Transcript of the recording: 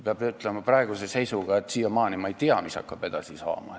Peab ütlema, et ma siiamaani ei tea, mis hakkab edasi saama.